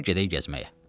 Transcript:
Dur gedək gəzməyə.